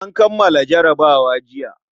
An kammala jarabawa jiya.